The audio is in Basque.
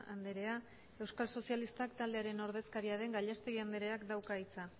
andrea euskal sozialistak taldearen ordezkaria den gallastegui andreak dauka hitza